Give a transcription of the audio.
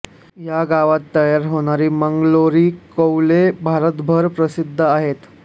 या गावात तयार होणारी मंगलोरी कौले भारतभर प्रसिद्ध आहेत